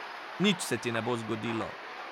Nič se ti ne bo zgodilo.